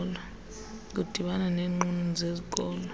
kudibana neenqununu zezikolo